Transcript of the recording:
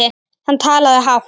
Hann talaði hátt.